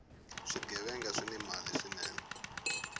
swighevenga swini mali swinene